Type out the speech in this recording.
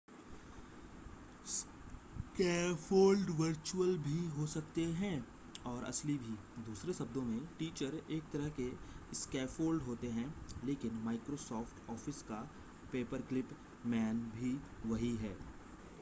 scaffold virtual भी हो सकते हैं और असली भी दूसरे शब्दों में टीचर एक तरह के स्कैफ़ोल्ड होते हैं लेकिन microsoft office का पेपरक्लिप मैन भी वही है